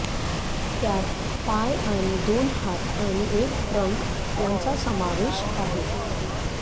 त्यात पाय आणि दोन हात आणि एक ट्रंक यांचा समावेश आहे